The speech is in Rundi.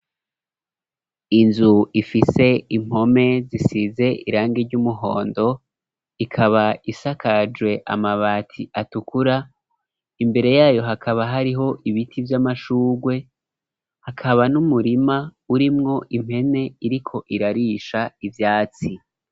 Inzu ifise impome zisize irangi ry'umuhondo, ikaba isakajwe amabati atukura, imbere yayo hakaba hariho ibiti vy'amashugwe, hakaba n'umurima urimwo impene iriko irarisha ivyatsi.